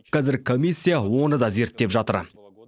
казір комиссия оны да зерттеп жатыр